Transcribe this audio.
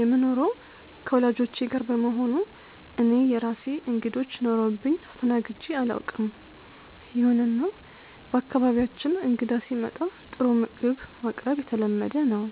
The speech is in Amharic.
የምኖረው ከወላጆቼ ጋር በመሆኑ እኔ የራሴ እንግዶች ኖረውብኝ አስተናግጄ አላውቅም። ይሁንና በአካባቢያችን እንግዳ ሲመጣ ጥሩ ምግብ ማቅረብ የተለመደ ነው።